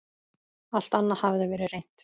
Alt annað hafði verið reynt.